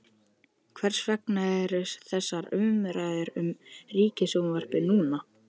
Hvers vegna eru þessar umræður um Ríkisútvarpið núna?